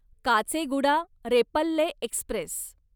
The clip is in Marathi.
काचेगुडा रेपल्ले एक्स्प्रेस